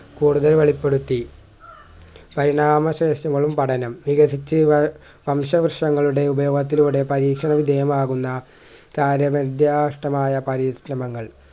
കൂടുതൽ വെളുപ്പെടുത്തി പരിണാമ പഠനം വികസിച്ച് വം വംശവൃക്ഷങ്ങളുടെ ഉപയോഗത്തിലൂടെ പരീക്ഷണം വിധേയകമാകുന്ന കാര്യനിർദ്യാഷ്ടമായ പരീക്ഷണങ്ങൾ